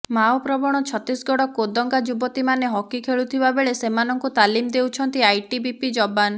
Mao ପ୍ରବଣ ଛତିଶଗଡ଼ କୋନ୍ଦାଗା ଯୁବତୀମାନେ hockey ଖେଲୁଥିବା ବେଳେ ସେମାନଙ୍କୁ ତାଲିମ ଦେଉଛନ୍ତି ଆଇଟିବିପି ଯବାନ